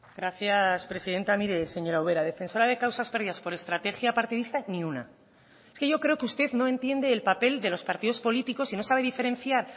gracias presidenta mire señora ubera defensora de causas perdidas por estrategia partidista ni una es que yo creo que usted no entiende el papel de los partidos políticos y no sabe diferenciar